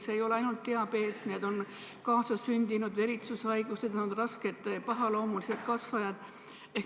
Samuti ei ole probleemiks ainult diabeet, vaid ka kaasasündinud veritsushaigused, rasked pahaloomulised kasvajad.